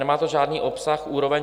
Nemá to žádný obsah, úroveň.